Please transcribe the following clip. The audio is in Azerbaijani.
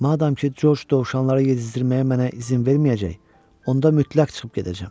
Madam ki, Corc dovşanlara yedizdirməyə mənə izin verməyəcək, onda mütləq çıxıb gedəcəm.